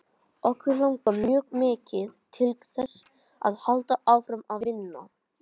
Okkur langar mjög mikið til þess að halda áfram að vinna.